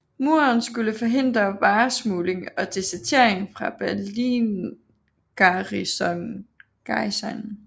Muren skulle forhindre varesmugling og desertering fra Berlingarnisonen